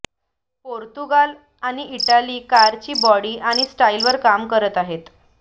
Portugal आणि Italy कारची body आणि स्टाईलवर काम करत आहेत